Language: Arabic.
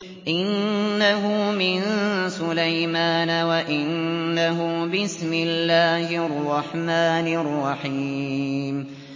إِنَّهُ مِن سُلَيْمَانَ وَإِنَّهُ بِسْمِ اللَّهِ الرَّحْمَٰنِ الرَّحِيمِ